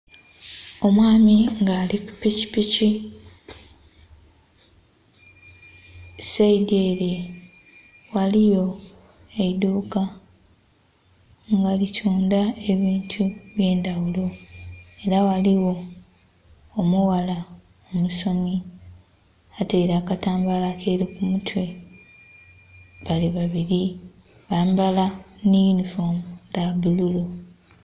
Omwami nga ali ku pikipiki saidhi ere ghaligho eidhuka nga litundha ebintu ebye ndhaghulo era ghaligho omughala omusomi ataire akatambala akeru ku mutwe bali babiri byamba nhe yunifoomu dha bulu.